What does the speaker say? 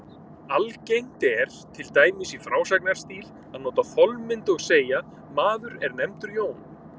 Algengt er, til dæmis í frásagnarstíl, að nota þolmynd og segja: Maður er nefndur Jón.